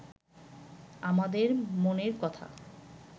আমাদের মনের কথা